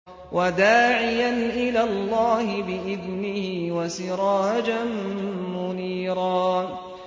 وَدَاعِيًا إِلَى اللَّهِ بِإِذْنِهِ وَسِرَاجًا مُّنِيرًا